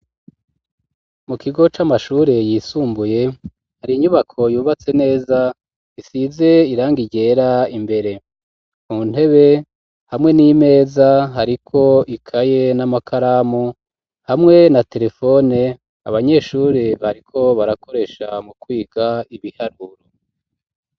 Mu kigo c'amashure yisumbuye hari inyubako yubatse neza isize irangi ryera imbere mu ntebe hamwe n'imeza hariko ikaye n'amakaramu hamwe na terefone abanyeshure bariko barakoresha mu kwiga ibiharuro.